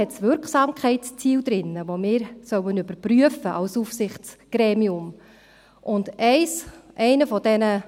In diesem Leitfaden stehen Wirksamkeitsziele, die wir als Aufsichtsgremium überprüfen sollen.